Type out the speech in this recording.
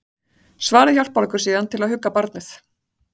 Svarið hjálpar okkur síðan til að hugga barnið.